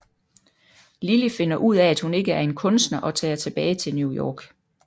Lily finder ud af at hun ikke er en kunster og tager tilbage til New York